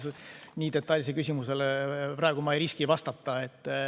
Ma nii detailsele küsimusele praegu ei riski vastata.